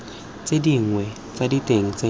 tse dinnye tsa diteng tse